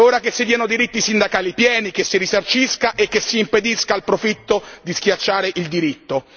È ora che si diano diritti sindacali pieni, che si risarcisca e che si impedisca al profitto di schiacciare il diritto.